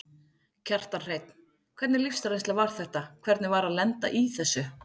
Kjartan Hreinn: Hvernig lífsreynsla var þetta, hvernig var að lenda í þessu?